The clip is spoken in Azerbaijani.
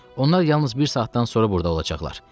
Onlar yalnız bir saatdan sonra burda olacaqlar.